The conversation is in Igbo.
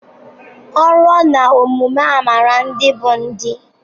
O ruo na omume amara ndị bụ ndị